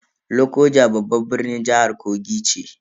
Lokoja babban birnin jihar Kogi ce.